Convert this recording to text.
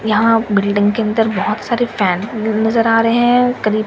यहाँ बिलडिंग के अंदर बहुत सारे फैन नज़र आ रहे हैं करीब --